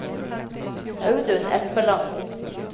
Audun Espeland